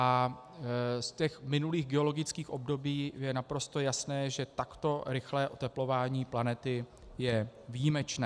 A z těch minulých geologických období je naprosto jasné, že takto rychlé oteplování planety je výjimečné.